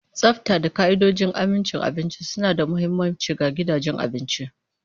Tsafta da ka'idojin amincin abinci suna da mahimmanci ga gidajen abinci.